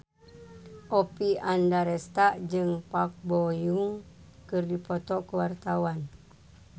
Oppie Andaresta jeung Park Bo Yung keur dipoto ku wartawan